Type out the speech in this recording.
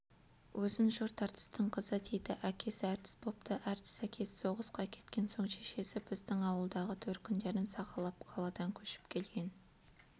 өзін жұрт әртістің қызы дейді әкесі әртіс бопты әртіс әкесі соғысқа кеткен соң шешесі біздің ауылдағы төркіндерін сағалап қаладан көшіп келген